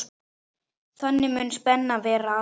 Þannig mundi spennu verða aflétt.